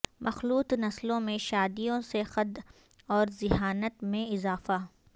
مخلوط نسلوں میں شادیوں سے قد اورذہانت میں اضافہ